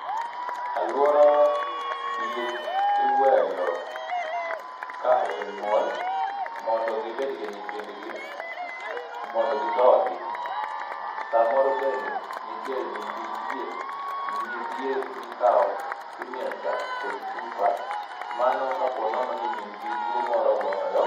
E aluorawa diek iweyo ka osenyuol mondo gibed gi nyithindgi mondo gidhodhi samoro bende nitie nyithi diek nyidiek mikawo to imiyo chak kod chupa mano kapo nono ni min gi tuo moro ogoyo